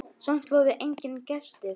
Samt voru engir gestir.